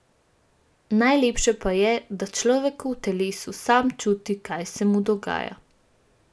Najlepše pa je, da človek v telesu sam čuti, kaj se mu dogaja.